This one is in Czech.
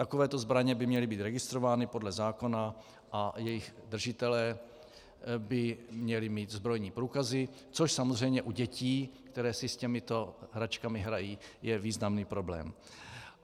Takovéto zbraně by měly být registrovány podle zákona a jejich držitelé by měli mít zbrojní průkazy, což samozřejmě u dětí, které si s těmito hračkami hrají, je významný problém.